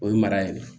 O ye mara ye dɛ